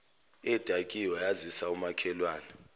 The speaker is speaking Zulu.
edakiwe yazisa umakhelwane